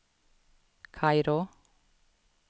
Kairo